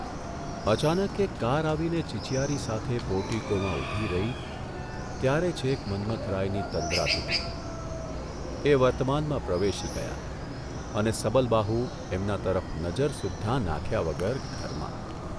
અચાનક એક કાર આવીને ચિચિયારી સાથે પોર્ટીકોમાં ઊભી રહી ત્યારે છેક મન્મથરાયની તંદ્રા તૂટી, એ વર્તમાનમાં પ્રવેશી ગયા અને સબલબાહુ એમના તરફ નજર સુદ્ધાં નાંખ્યા વગર ઘરમાં !